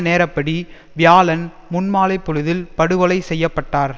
நேரப்படி வியாழன் முன்மாலைப்பொழுதில் படுகொலை செய்ய பட்டார்